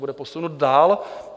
Bude posunut dál?